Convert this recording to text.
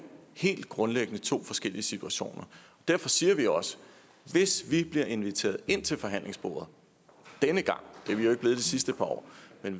helt grundlæggende to forskellige situationer derfor siger vi også hvis vi bliver inviteret ind til forhandlingsbordet denne gang det er vi jo ikke blevet de sidste par år